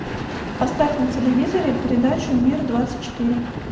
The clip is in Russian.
поставь на телевизоре передачу мир двадцать четыре